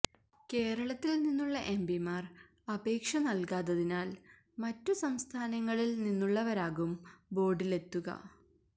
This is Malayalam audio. കേരളത്തില് നിന്നുള്ള എംപിമാര് അപേക്ഷ നല്കാത്തതിനാല് മറ്റു സംസ്ഥാനങ്ങളില് നിന്നുള്ളവരാകും ബോര്ഡിലെത്തുക